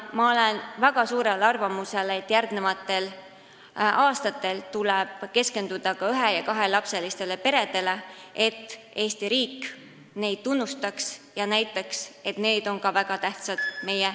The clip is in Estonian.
Ma olen väga kindlal arvamusel, et järgmistel aastatel tuleb keskenduda ka ühe- ja kahelapselistele peredele, et Eesti riik neid tunnustaks ja näitaks, et ka nemad on meie riigile väga tähtsad.